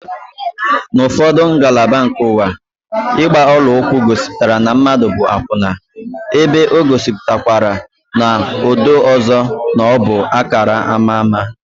N'ufodu ngalaba nke ụwa, ịgba ọla ụkwụ gosipụtara na mmadụ bụ akwụna, ebe o gosipụtakwara n'odo ọzọ na ọbụ akara ama ámá